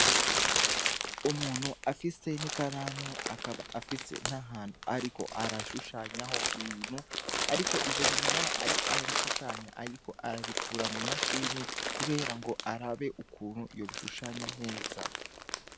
Umuntu afise n'ikaramu, akaba afise nahantu ariko arashushanyahi ibintu, ariko ivyo bintu naho ariko arabishushanya, ariko arabikura mw'imashini kubera ngo arabe ukuntu yobishushanya neza.